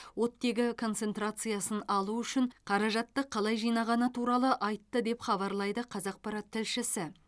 оттегі концентрациясын алу үшін қаражатты қалай жинағаны туралы айтты деп хабарлайды қазақпарат тілшісі